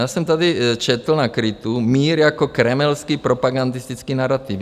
Já jsem tady četl na KRITu - mír jako kremelský propagandistický narativ.